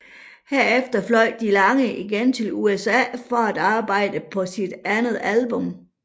Herefter fløj DeLange igen til USA for at arbejde på sit andet album